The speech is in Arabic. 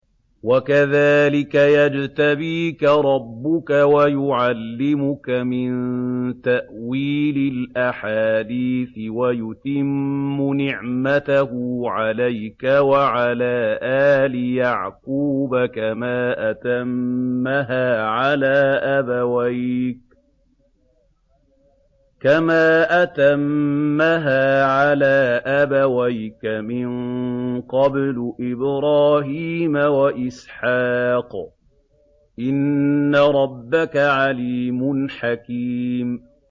وَكَذَٰلِكَ يَجْتَبِيكَ رَبُّكَ وَيُعَلِّمُكَ مِن تَأْوِيلِ الْأَحَادِيثِ وَيُتِمُّ نِعْمَتَهُ عَلَيْكَ وَعَلَىٰ آلِ يَعْقُوبَ كَمَا أَتَمَّهَا عَلَىٰ أَبَوَيْكَ مِن قَبْلُ إِبْرَاهِيمَ وَإِسْحَاقَ ۚ إِنَّ رَبَّكَ عَلِيمٌ حَكِيمٌ